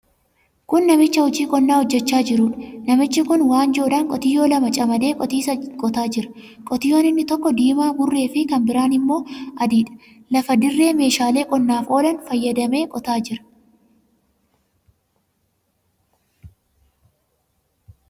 Kun namicha hojii qonnaa hojjechaa jiruudha. Namichi kun waanjoodhaan qotiyyoo lama camadee qotiisa qotaa jira. Qotiyyoon inni tokko diimaa burreefi kan biraan immoo adiidha. Lafa dirree meeshaalee qonnaaf oolan fayyadamee qotaa jira.